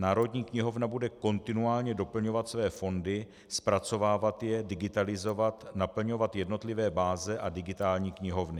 Národní knihovna bude kontinuálně doplňovat své fondy, zpracovávat je, digitalizovat, naplňovat jednotlivé báze a digitální knihovny.